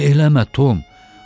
Bunu eləmə, Tom.